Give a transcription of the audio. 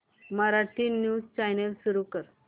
Marathi news channel सुरू कर